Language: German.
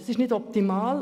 Es ist nicht optimal.